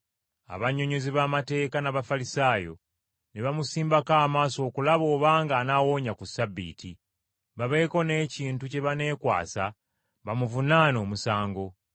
Abannyonnyozi b’amateeka n’Abafalisaayo ne bamusimbako amaaso okulaba obanga anaawonya ku Ssabbiiti, babeeko n’ekintu kye baneekwasa bamuvunaane omusango.